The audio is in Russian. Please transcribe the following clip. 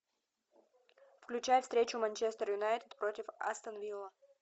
включай встречу манчестер юнайтед против астон вилла